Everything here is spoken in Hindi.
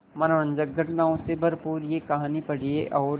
मनोरंजक घटनाओं से भरपूर यह कहानी पढ़िए और